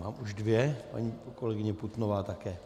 Mám už dvě, paní kolegyně Putnová také.